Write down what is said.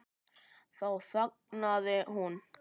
Þá þagnaði hún.